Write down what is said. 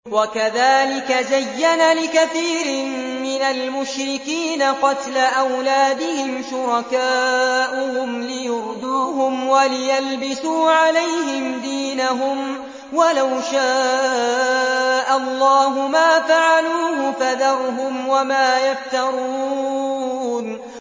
وَكَذَٰلِكَ زَيَّنَ لِكَثِيرٍ مِّنَ الْمُشْرِكِينَ قَتْلَ أَوْلَادِهِمْ شُرَكَاؤُهُمْ لِيُرْدُوهُمْ وَلِيَلْبِسُوا عَلَيْهِمْ دِينَهُمْ ۖ وَلَوْ شَاءَ اللَّهُ مَا فَعَلُوهُ ۖ فَذَرْهُمْ وَمَا يَفْتَرُونَ